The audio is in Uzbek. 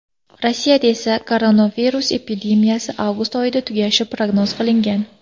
Rossiyada esa koronavirus epidemiyasi avgust oyida tugashi prognoz qilingan.